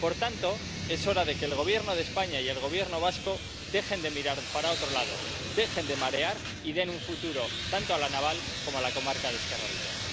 Por tanto, es hora de que el Gobierno de España y el Gobierno vasco dejen de mirar para otro lado, dejen de marear y den un futuro tanto a La Naval como a la comarca de Ezkerraldea.